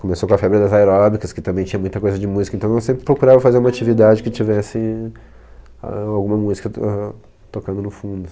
Começou com a febre das aeróbicas, que também tinha muita coisa de música, então eu sempre procurava fazer uma atividade que tivesse alguma música to ahn tocando no fundo.